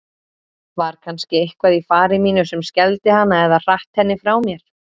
Var kannski eitthvað í fari mínu sem skelfdi hana eða hratt henni frá mér?